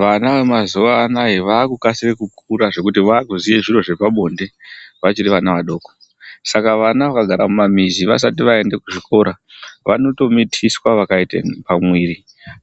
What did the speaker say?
Vana vemazuwanaya vakukasire kukura zvekuti vakuziye zviro zvepabonde vachiri vama vadoko saka vana vakagara mumamizi vaaikaendi kuchikora vanotomitiswa vakaite pamwiri